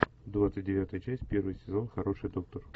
двадцать девятая часть первый сезон хороший доктор